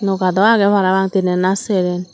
noka dow aage parapang teenan naa seren.